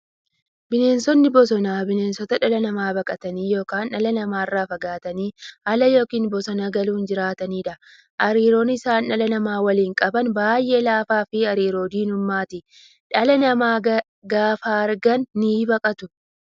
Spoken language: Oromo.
Bineensonni bosonaa bineensota dhala namaa baqatanii yookiin dhala namaa irraa fagaatanii ala yookiin bosona galuun jiraataniidha. Hariiroon isaan dhala namaa waliin qaban baay'ee laafaafi hariiroo diinummaati. Dhala namaa gaafa argan nibaqatu.